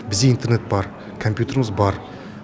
бізде интернет бар компьютеріміз бар